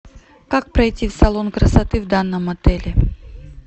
как пройти в салон красоты в данном отеле